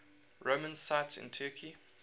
roman sites in turkey